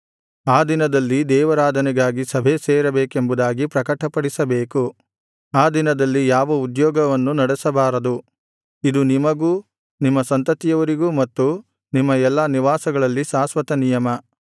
ಆ ದಿನದಲ್ಲಿ ದೇವಾರಾಧನೆಗಾಗಿ ಸಭೆಸೇರಬೇಕೆಂಬುದಾಗಿ ಪ್ರಕಟಪಡಿಸಬೇಕು ಆ ದಿನದಲ್ಲಿ ಯಾವ ಉದ್ಯೋಗವನ್ನು ನಡೆಸಬಾರದು ಇದು ನಿಮಗೂ ನಿಮ್ಮ ಸಂತತಿಯವರಿಗೂ ಮತ್ತು ನಿಮ್ಮ ಎಲ್ಲಾ ನಿವಾಸಗಳಲ್ಲಿ ಶಾಶ್ವತನಿಯಮ